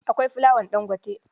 Akwai fulawar Ɗangote.